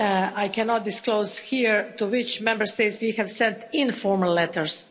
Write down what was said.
I cannot disclose here to which Member States we have sent informal letters.